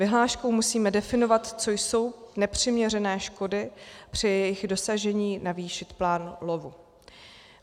Vyhláškou musíme definovat, co jsou nepřiměřené škody, při jejich dosažení navýšit plán lovu.